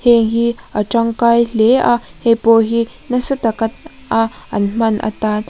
heihi a tangkai hle a hei pawh hi nasa tak a a an hman atan --